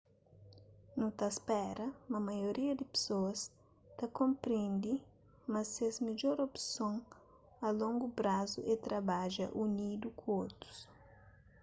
nu ta spera ma maioria di pesoas ta konprendi ma ses midjor opson a longu prazu é trabadja unidu ku otus